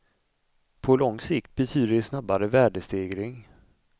På lång sikt betyder det snabbare värdestegring.